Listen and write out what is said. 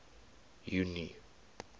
junie